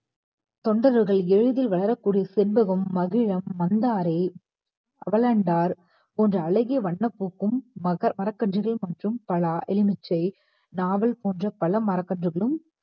தொண்டர்கள் செண்பகம் மகிழம் மந்தாரை அவலண்டார் போன்ற அழகிய வண்ணப் பூக்கும் மர~ மரக்கன்றுகளும் மற்றும் மா பலா எலுமிச்சை நாவல் போன்ற பல மரக்கன்றுகளும்